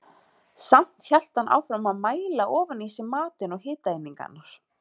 Samt hélt hann áfram að mæla ofan í sig matinn og hitaeiningarnar.